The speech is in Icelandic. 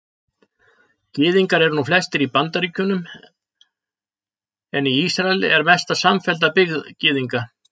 Gyðingar eru nú flestir í Bandaríkjunum en í Ísrael er mesta samfellda byggð Gyðinga.